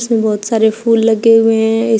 इसमें बहोत सारे फूल लगे हुए हैं इस--